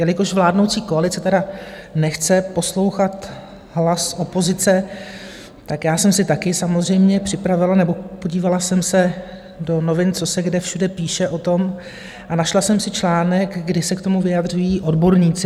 Jelikož vládnoucí koalice tedy nechce poslouchat hlas opozice, tak já jsem si taky samozřejmě připravila, nebo podívala jsem se do novin, co se kde všude píše o tom, a našla jsem si článek, kdy se k tomu vyjadřují odborníci.